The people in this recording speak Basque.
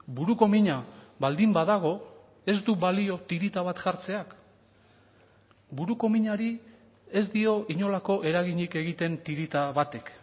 buruko mina baldin badago ez du balio tirita bat jartzeak buruko minari ez dio inolako eraginik egiten tirita batek